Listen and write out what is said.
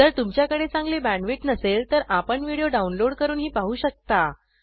जर तुमच्याकडे चांगली बॅण्डविड्थ नसेल तर आपण व्हिडिओ डाउनलोड करूनही पाहू शकता